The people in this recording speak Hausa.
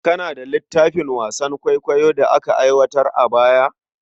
Kana da littafin wasan kwaikwayon Hausa da aka aiwatar a baya?